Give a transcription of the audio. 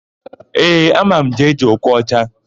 Ee, ama m Jee-Jee Okocha.